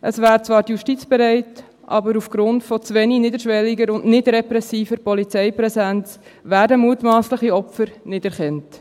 Zwar wäre die Justiz bereit, aber aufgrund von zu wenig niederschwelliger oder nicht-repressiver Polizeipräsenz werden mutmassliche Opfer nicht erkannt.